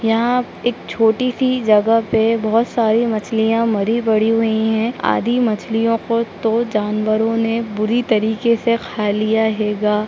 यहाँ एक छोटी सी जगह पे बहुत सारी मछलियाँ मरी पड़ी हुई हैं। आधी मछलियों को तो जानवरो ने बुरी तरीके से खा लिया है गा।